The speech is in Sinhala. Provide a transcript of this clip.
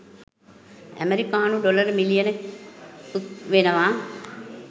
ඇමරිකානු ඩොලර් මිලියන .ක් වෙනවා.